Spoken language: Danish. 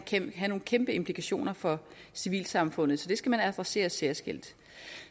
kan have nogle kæmpe implikationer for civilsamfundet så det skal man adressere særskilt